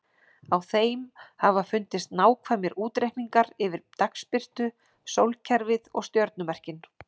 Á þeim hafa fundist nákvæmir útreikningar yfir dagsbirtu, sólkerfið og stjörnumerkin.